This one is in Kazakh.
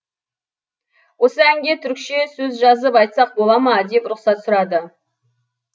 осы әнге түрікше сөз жазып айтсақ бола ма деп рұқсат сұрады